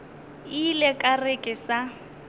ile ka re ke sa